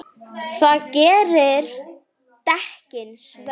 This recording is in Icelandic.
Það gerir dekkin svört.